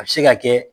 A bɛ se ka kɛ